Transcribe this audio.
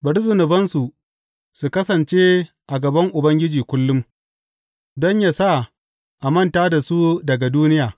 Bari zunubansu su kasance a gaban Ubangiji kullum, don yă sa a manta da su daga duniya.